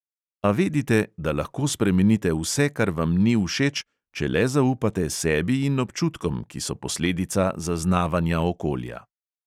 A vedite, da lahko spremenite vse, kar vam ni všeč, če le zaupate sebi in občutkom, ki so posledica zaznavanja okolja.